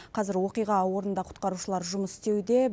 қазір оқиға орнында құтқарушылар жұмыс істеуде